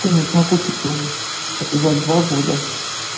конечно окупится у них за два года